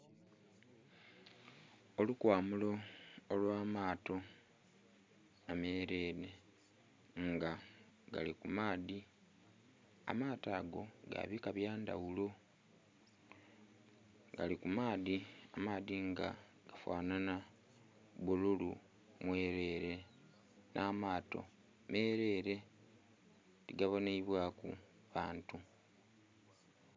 Olukwamulo olwamaato amerere nga gali kumaadhi amaato ago gabika byandhaghulo gali kumaadhi nga gafanhanha bbululu mwerere n'amaato merere tigabonhebwaku bantu.